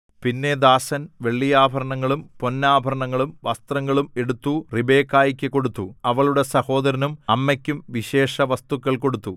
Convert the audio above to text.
പിന്നെ ദാസൻ വെള്ളിയാഭരണങ്ങളും പൊന്നാഭരണങ്ങളും വസ്ത്രങ്ങളും എടുത്തു റിബെക്കായ്ക്കു കൊടുത്തു അവളുടെ സഹോദരനും അമ്മയ്ക്കും വിശേഷവസ്തുക്കൾ കൊടുത്തു